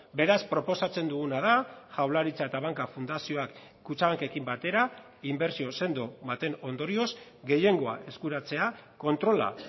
beraz proposatzen duguna da jaurlaritza eta banka fundazioak kutxabankekin batera inbertsio sendo baten ondorioz gehiengoa eskuratzea kontrola